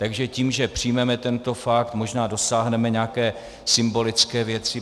Takže tím, že přijmeme tento pakt, možná dosáhneme nějaké symbolické věci.